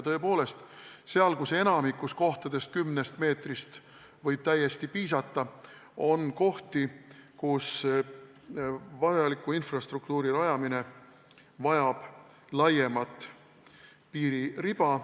Tõepoolest, enamikus kohtades võib kümnest meetrist täiesti piisata, aga on kohti, kus vajaliku infrastruktuuri rajamine vajab laiemat piiririba.